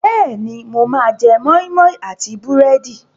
Bẹ́ẹ̀ni, mo máa jẹ́ moi moi àti búrẹ́dì.